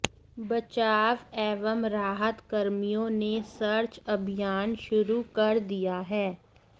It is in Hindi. बचाव एवं राहत कर्मियों ने सर्च अभियान शुरू कर दिया है